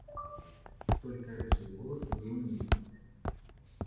только рыжие волосы ей не идут